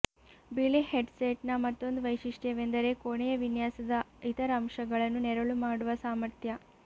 ಬಿಳಿ ಹೆಡ್ಸೆಟ್ನ ಮತ್ತೊಂದು ವೈಶಿಷ್ಟ್ಯವೆಂದರೆ ಕೋಣೆಯ ವಿನ್ಯಾಸದ ಇತರ ಅಂಶಗಳನ್ನು ನೆರಳು ಮಾಡುವ ಸಾಮರ್ಥ್ಯ